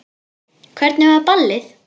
Hvernig var ballið?